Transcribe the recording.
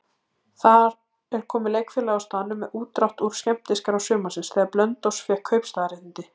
Þar er komið leikfélagið á staðnum með útdrátt úr skemmtiskrá sumarsins, þegar Blönduós fékk kaupstaðarréttindi.